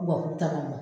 Wa k'u tagama